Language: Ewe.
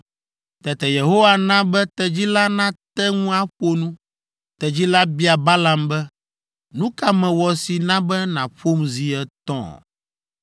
Tete Yehowa na be tedzi la nate ŋu aƒo nu. Tedzi la bia Balaam be, “Nu ka mewɔ si na be nàƒom zi etɔ̃?”